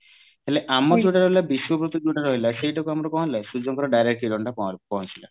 ହେଲେ ଆମର ଯୋଉଟା ରହିଲା ବିଶ୍ଵପ୍ରତି ଯୋଉଟା ରହିଲା ସେଇଟାକୁ ଆମର କଣ ହେଲା ସୂର୍ଯ୍ୟଙ୍କର direct କିରଣଟା ପହଞ୍ଚିଲା